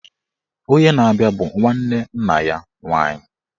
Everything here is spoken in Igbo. Onye na-abịa bụ nwanne nna ya nwaanyị